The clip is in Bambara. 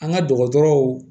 An ka dɔgɔtɔrɔw